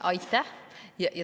Aitäh!